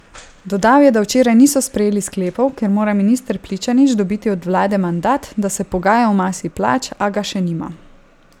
Dodal je, da včeraj niso sprejeli sklepov, ker mora minister Pličanič dobiti od vlade mandat, da se pogaja o masi plač, a ga še nima.